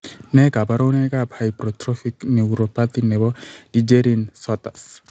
Nee kabarunoikab Hypertrophic neuropathy nebo Dejerine Sottas?